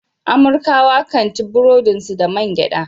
Amurkawa kan ci burodin su da man gyada.